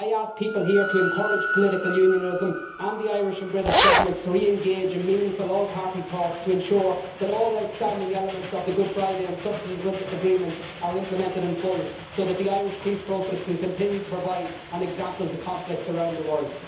I ask people here to encourage political unionism and the Irish and British Governments to re engage in meaningful all party talks to ensure that all outstanding elements of the Good Friday and subsequent agreements are implemented in full, so that the Irish peace process can continue to provide an example to conflicts around the world.